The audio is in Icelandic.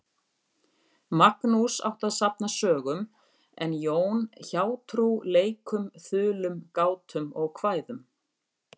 Magnús átti að safna sögum en Jón hjátrú, leikum, þulum, gátum og kvæðum.